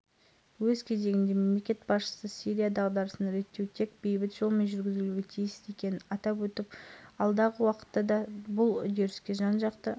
мемлекет басшылары әңгіме барысында күн тәртібіндегі өзекті жаһандық мәселелер соның ішінде астанада өткен сирияға қатысты халықаралық кездесу қорытындылары жөнінде пікір алмасты